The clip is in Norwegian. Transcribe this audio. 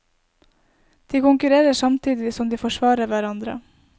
De konkurrerer samtidig som de forsvarer hverandre.